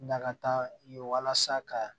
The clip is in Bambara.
Nakata ye walasa ka